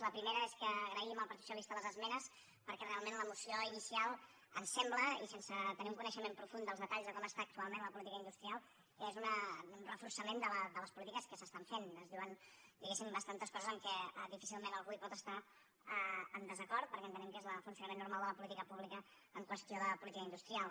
la primera és que agraïm al partit socialista les esmenes perquè realment la moció inicial ens sembla i sense tenir un coneixement profund dels detalls de com està actualment la política industrial que és un reforçament de les polítiques que s’estan fent es diuen digués sim bastantes coses amb què difícilment algú pot estar en desacord perquè entenem que és el funcionament normal de la política pública en qüestió de política industrial